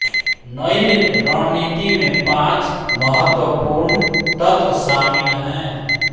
नई रणनीति में पांच महत्वपूर्ण तत्व शामिल हैं